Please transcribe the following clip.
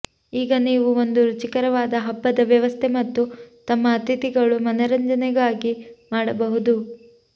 ಈಗ ನೀವು ಒಂದು ರುಚಿಕರವಾದ ಹಬ್ಬದ ವ್ಯವಸ್ಥೆ ಮತ್ತು ತಮ್ಮ ಅತಿಥಿಗಳು ಮನರಂಜನೆಗಾಗಿ ಮಾಡಬಹುದು